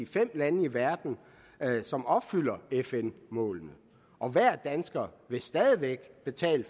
fem lande i verden som opfylder fn målet og hver dansker vil stadig væk betale